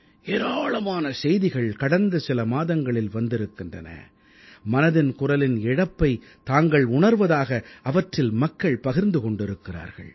ஏராளமான செய்திகள் கடந்த சில மாதங்களில் வந்திருக்கின்றன மனதின் குரலின் இழப்பைத் தாங்கள் உணர்வதாக அவற்றில் மக்கள் பகிர்ந்து கொண்டிருக்கிறார்கள்